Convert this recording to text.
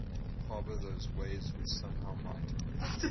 harbour those waves which somehow might